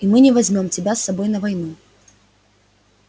и мы не возьмём тебя с собой на войну